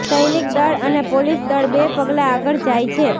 સૈનિક દળ અને પોલીસ દળ બે પગલાં આગળ જાય છે